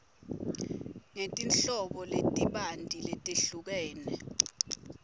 ngetinhlobo letibanti letehlukene